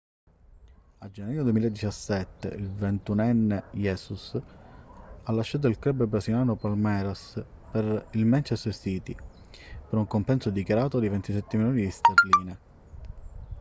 a gennaio 2017 il ventunenne jesus ha lasciato il club brasiliano palmeiras per il manchester city per un compenso dichiarato di 27 milioni di sterline